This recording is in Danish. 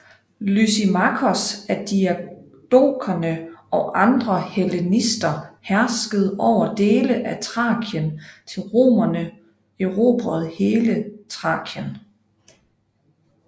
Lysimakos af diadokerne og andre hellenister herskede over dele af Thrakien til romerne erobrede hele Thrakien